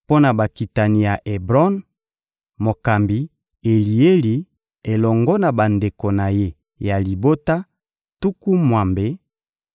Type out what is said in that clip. mpo na bakitani ya Ebron: mokambi Elieli elongo na bandeko na ye ya libota, tuku mwambe;